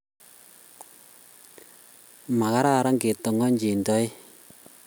Makararan ke tong'ong'chin toek.